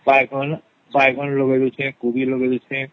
ବାଇଗଣ ବାଇଗଣ ଲଗେଇଦେଇଛି କୋବି ଲଗେଇଦେଇଛି